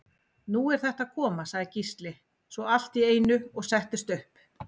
Nú er þetta að koma, sagði Gísli svo allt í einu og settist upp.